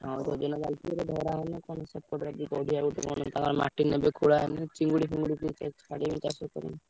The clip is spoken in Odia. ହଁ ତାଙ୍କର ମାଟି ନେବେ ଖୋଲା ହବ ଚିଙ୍ଗୁଡି ଫିନଗୁଡି କରିବେ ଚାଷ କରିବେ।